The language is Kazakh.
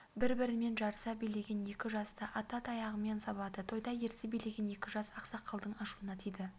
бір-бірімен жарыса билеген екі жасты ата таяғымен сабады тойда ерсі билеген екі жас ақсақалдың ашуына тиді